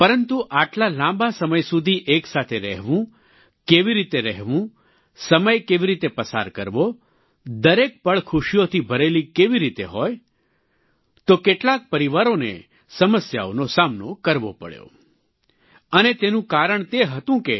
પરંતુ આટલા લાંબા સમય સુધી એક સાથે રહેવું કેવી રીતે રહેવું સમય કેવી રીતે પસાર કરવો દરેક પળ ખુશીઓથી ભરેલી કેવી રીતે હોય તો કેટલાક પરિવારોને સમસ્યાઓનો સામનો કરવો પડ્યો અને તેનું કારણ તે હતું કે